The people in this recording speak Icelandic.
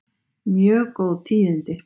Mjög góð tíðindi